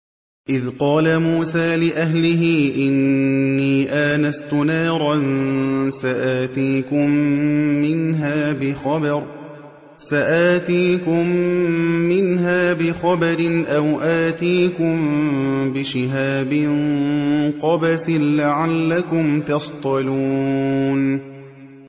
إِذْ قَالَ مُوسَىٰ لِأَهْلِهِ إِنِّي آنَسْتُ نَارًا سَآتِيكُم مِّنْهَا بِخَبَرٍ أَوْ آتِيكُم بِشِهَابٍ قَبَسٍ لَّعَلَّكُمْ تَصْطَلُونَ